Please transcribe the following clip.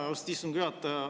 Aitäh, austatud istungi juhataja!